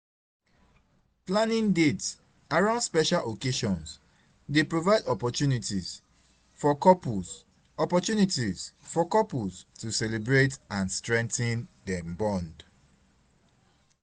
planning dates around special occasions dey provide opportunities for couples opportunities for couples to celebrate and strengthen dem bond.